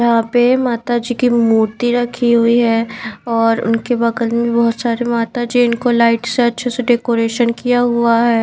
यहां पे माता जी की मूर्ति रखी हुई है और उनके बगल में बहुत सारे माता जी इनको लाइट से अच्छे से डेकोरेशन किया हुआ है।